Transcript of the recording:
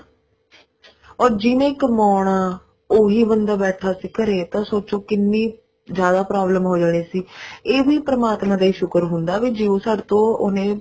or ਜਿਹਨੇ ਕਮਾਉਣਾ ਉਹੀ ਬੰਦਾ ਬੈਠਾ ਘਰੇ ਤਾਂ ਸੋਚੋ ਕਿੰਨੀ ਜਿਆਦਾ problem ਹੋ ਜਾਣੀ ਸੀ ਇਹ ਵੀ ਪਰਮਾਤਮਾ ਦਾ ਹੀ ਸ਼ੁਕਰ ਹੁੰਦਾ ਵੀ ਜਿਓਂ ਸਾਡੇ ਤੋਂ ਉਹਨੇ